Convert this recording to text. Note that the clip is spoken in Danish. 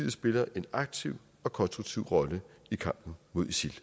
at spille en aktiv og konstruktiv rolle i kampen mod isil